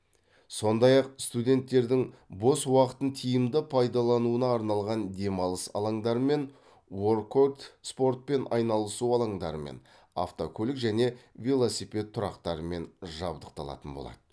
сондай ақ студенттердің бос уақытын тиімді пайдалануына арналған демалыс алаңдарымен уоркот спортпен айналысу алаңдарымен автокөлік және велосипед тұрақтарымен жабдықталатын болады